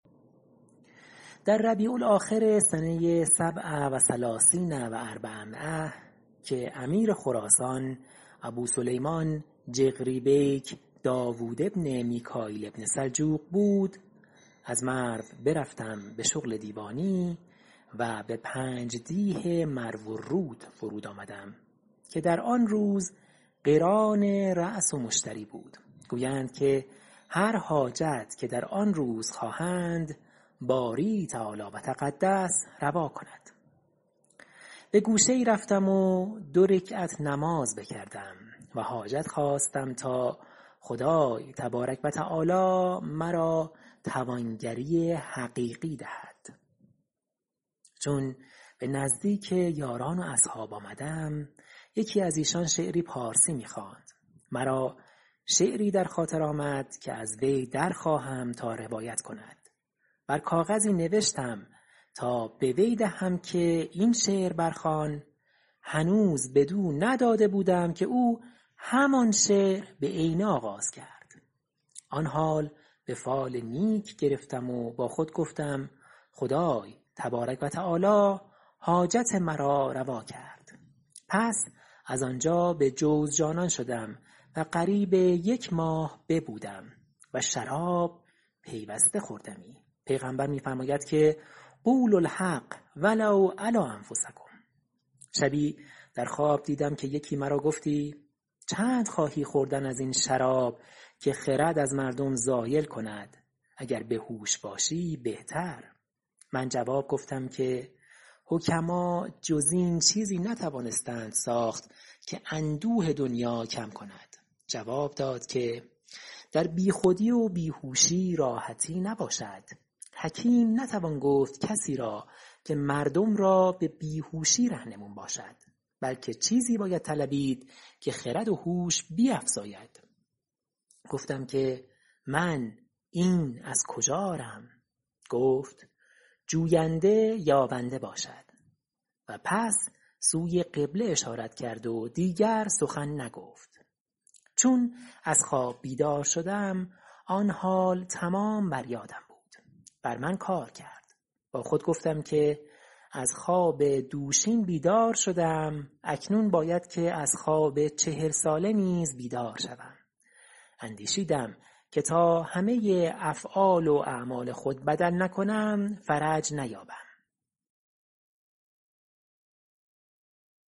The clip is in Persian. در ربیع الآخر سنه سبع و ثلثین و اربعمایه ۴٣٧ که امیر خراسان ابوسلیمان جغری بیک داود بن میکاییل بن سلجوق بود از مرو برفتم به شغل دیوانی و به پنج دیه مروالرود فرود آمدم که در آن روز قران رأس و مشتری بود گویند که هر حاجت که در آن روز خواهند باری تعالی و تقدس روا کند به گوشه ای رفتم و دو رکعت نماز بکردم و حاجت خواستم تا خدای تبارک و تعالی مرا توانگری حقیقی دهد چون به نزدیک یاران و اصحاب آمدم یکی از ایشان شعری پارسی می خواند مرا شعری در خاطر آمد که از وی در خواهم تا روایت کند بر کاغذی نوشتم تا به وی دهم که این شعر برخوان هنوز بدو نداده بودم که او همان شعر بعینه آغاز کرد آن حال به فال نیک گرفتم و با خود گفتم خدای تبارک و تعالی حاجت مرا روا کرد پس از آنجا به جوزجانان شدم و قریب یک ماه ببودم و شراب پیوسته خوردمی پیغمبر صلی الله علیه و آله و سلم می فرماید که قولوا الحق و لو علی انفسکم شبی در خواب دیدم که یکی مرا گفتی چند خواهی خوردن از این شراب که خرد از مردم زایل کند اگر به هوش باشی بهتر من جواب گفتم که حکما جز این چیزی نتوانستند ساخت که اندوه دنیا کم کند جواب داد که در بی خودی و بیهوشی راحتی نباشد حکیم نتوان گفت کسی را که مردم را به بیهوشی رهنمون باشد بلکه چیزی باید طلبید که خرد و هوش را بیفزاید گفتم که من این از کجا آرم گفت جوینده یابنده باشد و پس سوی قبله اشارت کرد و دیگر سخن نگفت چون از خواب بیدار شدم آن حال تمام بر یادم بود بر من کار کرد با خود گفتم که از خواب دوشین بیدار شدم اکنون باید که از خواب چهل ساله نیز بیدار شوم اندیشیدم که تا همه افعال و اعمال خود بدل نکنم فرج نیابم